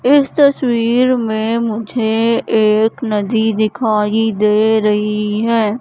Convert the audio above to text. इस तस्वीर में मुझे एक नदी दिखाई दे रही है।